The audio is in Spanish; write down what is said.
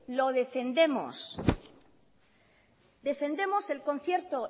lo defendemos defendemos el concierto